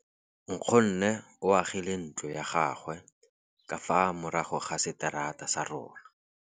Nkgonne o agile ntlo ya gagwe ka fa morago ga seterata sa rona.